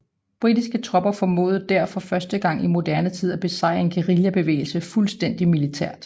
Britiske tropper formåede der for første gang i moderne tid at besejre en guerillabevægelse fuldstændigt militært